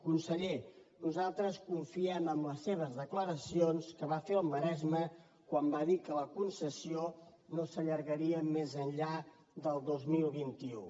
conseller nosaltres confiem en les seves declaracions que va fer al maresme quan va dir que la concessió no s’allargaria més enllà del dos mil vint u